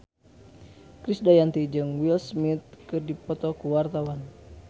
Krisdayanti jeung Will Smith keur dipoto ku wartawan